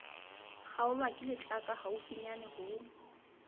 kgaolwa ke letlaka haufinyane ho